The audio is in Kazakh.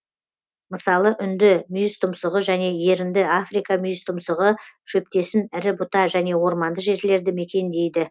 мысалы үнді мүйізтұмсығы және ерінді африка мүйіз тұмсығы шөптесін ірі бұта және орманды жерлерді мекендейді